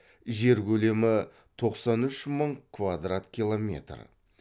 жер көлемі тоқсан үш мың квадрат километр